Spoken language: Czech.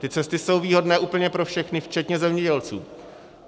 Ty cesty jsou výhodné úplně pro všechny včetně zemědělců.